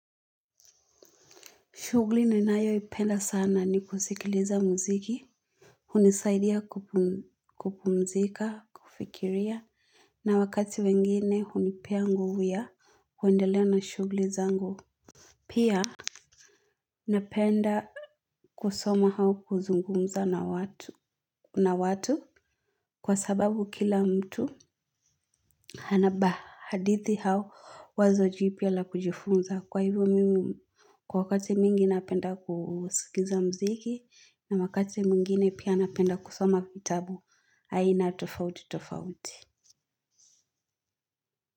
Shughuli ninayoipenda sana ni kusikiliza mziki. Hunisaidia kupumzika, kufikiria na wakati wengine hunipea nguvu ya kuendele na shughuli zangu, pia napenda kusoma au kuzungumza na watu kwa sababu kila mtu hanaba hadithi au wazo jipya la kujifunza kwa hivyo mimi kwa wakati mingi napenda kusikiza mziki na wakati mwingine napenda kusoma kitabu aina tofauti tofauti.